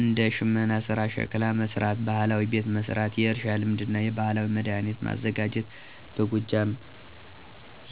እንደ ሽመና ሥራ፣ ሸክላ መሥራት፣ ባህላዊ ቤት መሥራት፣ የእርሻ ልማድና የባህላዊ መድኃኒት ማዘጋጀት በጎጃም